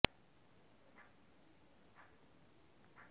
এ ঘটনার সত্যতা স্বীকার করে দীঘিনালা থানার ওসি মো